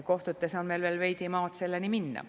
Kohtutes on meil veel veidi maad selleni minna.